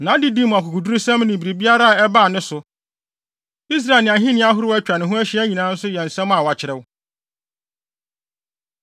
Nʼadedi mu akokodurusɛm ne biribiara a ɛbaa ne so, Israel ne ahenni ahorow a atwa ne ho ahyia nyinaa nso yɛ nsɛm a wɔakyerɛw.